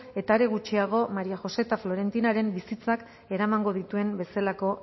eta are gutxiago maría josé eta florentinaren bizitzak eramango dituen bezalako